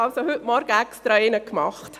Ich habe heute Morgen extra einen gemacht.